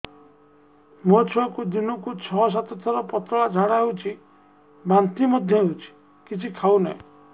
ମୋ ଛୁଆକୁ ଦିନକୁ ଛ ସାତ ଥର ପତଳା ଝାଡ଼ା ହେଉଛି ବାନ୍ତି ମଧ୍ୟ ହେଉଛି କିଛି ଖାଉ ନାହିଁ